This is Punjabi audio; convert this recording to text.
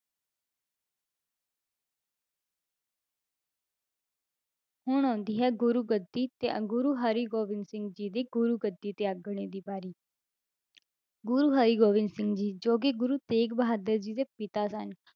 ਹੁਣ ਆਉਂਦੀ ਹੈ ਗੁਰੂ ਗੱਦੀ ਤੇ ਗੁਰੂ ਹਰਿਗੋਬਿੰਦ ਸਿੰਘ ਜੀ ਦੀ ਗੁਰੂਗੱਦੀ ਤਿਆਗਣੇ ਦੀ ਵਾਰੀ ਗੁਰੂ ਹਰਿਗੋਬਿੰਦ ਸਿੰਘ ਜੀ ਜੋ ਕਿ ਗੁਰੂ ਤੇਗ ਬਹਾਦਰ ਜੀ ਦੇ ਪਿਤਾ ਸਨ,